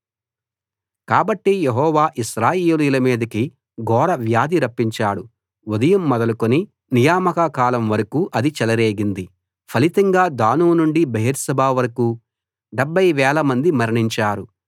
కాబట్టి యెహోవా ఇశ్రాయేలీయుల మీదికి ఘోర వ్యాధి రప్పించాడు ఉదయం మొదలుకుని నియామక కాలం వరకూ అది చెలరేగింది ఫలితంగా దాను నుండి బెయేర్షెబా వరకూ 70 వేలమంది మరణించారు